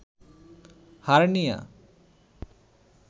hernia